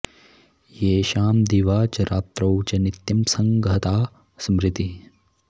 येषां दिवा च रात्रौ च नित्यं संघगता स्मृतिः